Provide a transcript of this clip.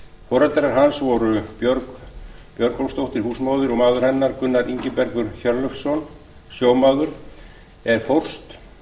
foreldrar hans voru björg björgólfsdóttir húsmóðir og maður hennar gunnar ingibergur hjörleifsson sjómaður en fórst